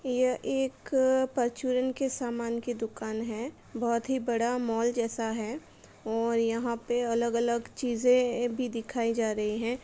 ये एक परचूरन के सामन की दुकान है। बोहत ही बड़ा मॉल जैसा है और यहाँ पे अलग-अलग चीज़े भी दिखाई जा रही हैं।